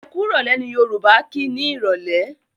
Ẹkúrọ̀lẹ́! ni Yorùbá kí ni Ìrọ̀lẹ́.